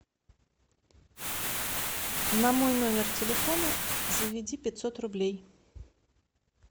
на мой номер телефона заведи пятьсот рублей